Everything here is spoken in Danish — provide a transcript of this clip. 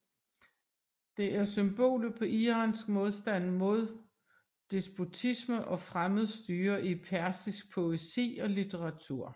Det er symbolet på iransk modstand mod despotisme og fremmed styre i persisk poesi og litteratur